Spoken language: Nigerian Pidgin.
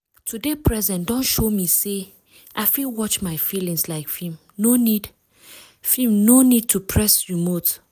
to dey present don show me say i fit watch my feelings like film no need film no need to press remote.